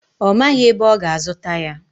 Ọ maghị ebe ọ ga-azụta ya.